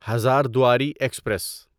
Hazarduari express